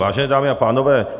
Vážené dámy a pánové.